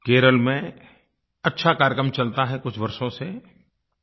केरल में अच्छा कार्यक्रम चलता है कुछ वर्षों से प